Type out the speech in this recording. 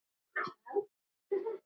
Hvað með mömmu þína?